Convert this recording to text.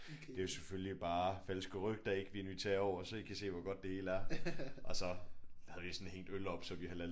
Det er jo selvfølgelig bare falske rygter ik vi inviterer jer over så I kan se hvor godt det hele er og så havde vi jo sådan hængt øl op så vi halal